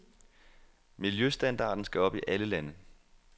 Miljøstandarden skal op i alle lande.